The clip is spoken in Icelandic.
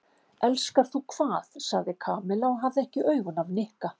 Elskar þú hvað? sagði Kamilla og hafði ekki augun af Nikka.